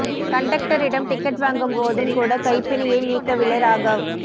கண்டெக்டரிடம் ticket வாங்கும் போதும் கூட கைப் பிணையை நீக்கவில்லை ராகவ்